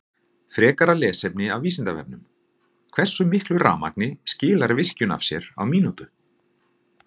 Frekara lesefni af Vísindavefnum: Hversu miklu rafmagni skilar virkjun af sér á mínútu?